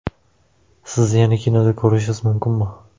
Sizni yana kinoda ko‘rishimiz mumkinmi?